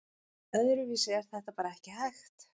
Öðruvísi er þetta bara ekki hægt